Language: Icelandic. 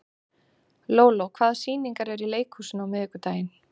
Lóló, hvaða sýningar eru í leikhúsinu á miðvikudaginn?